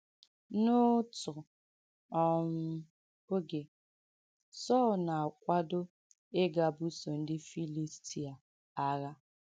N’òtụ̀ um ògē, Sọ̀l na-àkwàdọ̀ ìgà bùsọ̀ ndị Fìlìstìà àghà.